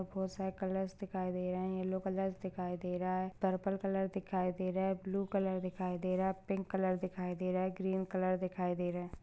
बहुत सारे कलर्स दिखाई दे रहे है येल्लो कलर दिखाई दे रहा है पर्पल कलर दिखाई दे रहा है ब्लू कलर दिखाई दे रहा है पिंक कलर दिखाई दे रहा है ग्रीन कलर दिखाई दे रहा है।